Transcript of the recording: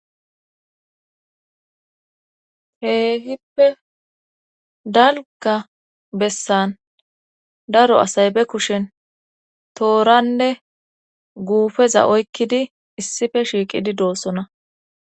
Keehippe dalga bessan daro asay be kushen tooranne guufeza oykkidi issife shiiqidi doossona